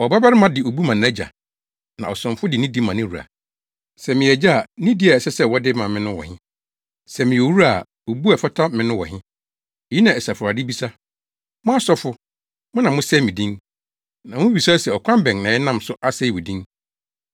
“Ɔbabarima de obu ma nʼagya, na ɔsomfo de nidi ma ne wura. Sɛ meyɛ Agya a, nidi a ɛsɛ sɛ wɔde ma me no wɔ he? Sɛ meyɛ Owura a, obu a ɛfata me no wɔ he?” Eyi na Asafo Awurade bisa. “Mo asɔfo, mo na mosɛe me din. “Na mubisa se, ‘Ɔkwan bɛn na yɛnam so asɛe wo din?’